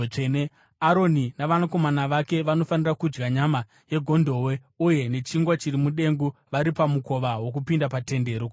Aroni navanakomana vake vanofanira kudya nyama yegondobwe uye nechingwa chiri mudengu vari pamukova wokupinda paTende Rokusangana.